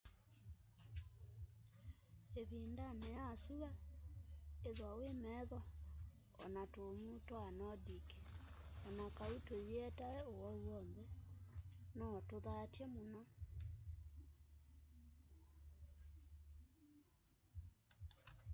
ivindani ya syua ithwa wi metho o na tumuu twa nordic o na kau tuyietae uwau wonthe no tuthatye muno